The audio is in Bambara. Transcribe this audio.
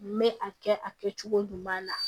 N bɛ a kɛ a kɛcogo ɲuman na